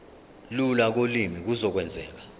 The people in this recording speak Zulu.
lula kolimi kuzokwenzeka